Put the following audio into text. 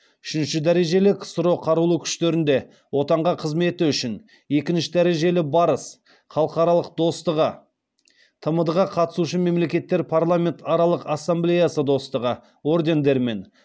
үшінші дәрежелі ксро қарулы күштерінде отанға қызметі үшін екінші дәрежелі барыс халықтар достығы тмд ға қатысушы мемлекеттер парламентаралық ассамблеясы достастығы ордендерімен